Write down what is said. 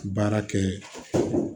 Baara kɛ